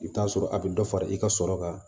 I bɛ t'a sɔrɔ a bɛ dɔ fara i ka sɔrɔ kan